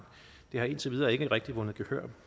det har indtil videre ikke rigtig vundet gehør